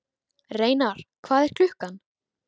Reynar, hvað er klukkan?